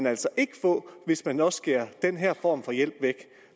altså ikke få hvis man også skærer den her form for hjælp væk